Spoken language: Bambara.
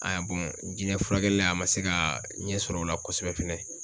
jinɛ furakɛli la a ma se ka ɲɛ sɔr'o la kosɛbɛ fɛnɛ.